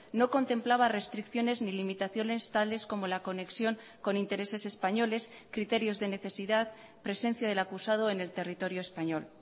no contemplaba restricciones ni limitaciones tales como la conexión con intereses españoles criterios de necesidad presencia del acusado en el territorio español